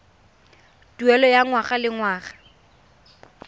tuelo ya ngwaga le ngwaga